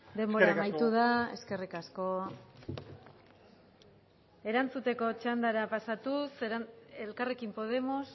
denbora amaitu da eskerrik asko eskerrik asko erantzuteko txandara pasatuz elkarrekin podemos